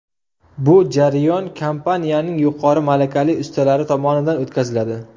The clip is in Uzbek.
Bu jarayon kompaniyaning yuqori malakali ustalari tomonidan o‘tkaziladi.